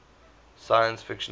science fiction fans